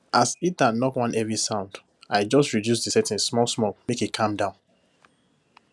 as heater knock one heavy sound i just reduce the setting smallsmall make e calm down